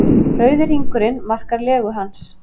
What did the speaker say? Rauði hringurinn markar legu hans.